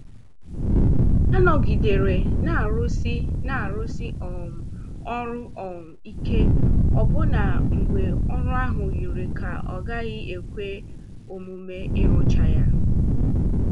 Ha nọgidere n'arụsi n'arụsi um ọrụ um ike ọbụna mgbe ọrụ ahụ yiri ka ọ gaghị ekwe omume ịrụcha ya.